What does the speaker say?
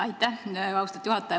Aitäh, austatud juhataja!